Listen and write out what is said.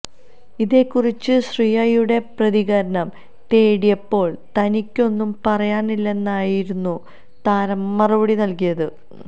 ഇതേക്കുറിച്ച് ശ്രിയയുടെ പ്രതികരണം തേടിയപ്പോള് തനിക്കൊന്നും പറയാനില്ലെന്നായിരുന്നു താരം മറുപടി നല്കിയത്